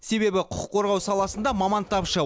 себебі құқық қорғау саласында маман тапшы